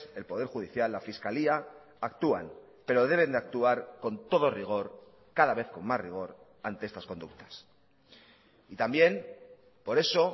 el poder judicial la fiscalía actúan pero deben de actuar con todo rigor cada vez con más rigor ante estas conductas y también por eso